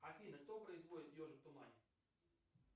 афина кто производит ежик в тумане